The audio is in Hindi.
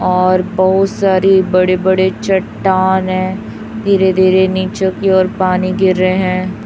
और बहुत सारी बड़े बड़े चट्टान है धीरे धीरे नीचे की ओर पानी गिर रहे हैं।